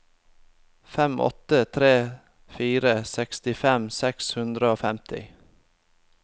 fem åtte tre fire sekstifem seks hundre og femti